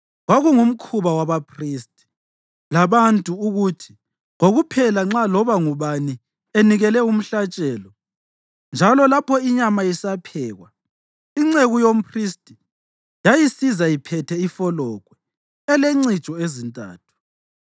Kwakungumkhuba wabaphristi labantu ukuthi kokuphela nxa loba ngubani enikele umhlatshelo, njalo lapho inyama isaphekwa, inceku yomphristi yayisiza iphethe ifologwe elencijo ezintathu.